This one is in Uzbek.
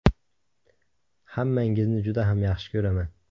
Hammangizni juda ham yaxshi ko‘raman.